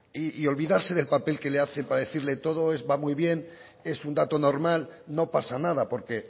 y olvidarse del papel que le hace para decirle todo va muy bien es un dato norma no pasa nada porque